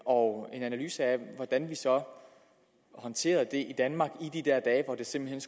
og en analyse af hvordan vi så håndterede det i danmark i de der dage hvor det simpelt